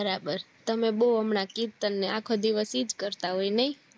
બરાબર તમે બૌ હમણાં કીર્તન ને આખો ઇજ દિવસ કરતા હોય નય